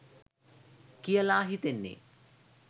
කියල හිතෙන්නෙ.